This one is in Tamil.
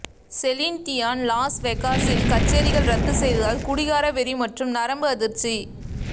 செலின் டியான் லாஸ் வேகாஸில் கச்சேரிகள் ரத்து செய்ததால் குடிகார வெறி மற்றும் நரம்பு அதிர்ச்சி